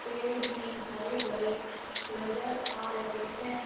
पेड़ भी हरे भरे नजर आ रहे हैं।